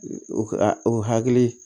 O o hakili